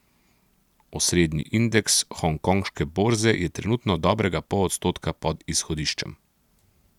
Osrednji indeks hongkonške borze je trenutno dobrega pol odstotka pod izhodiščem.